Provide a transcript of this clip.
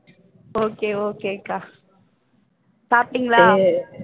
okay okay அக்கா சாப்பிட்டீங்களா